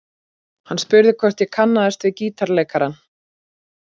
Hann spurði hvort ég kannaðist við gítarleikarann.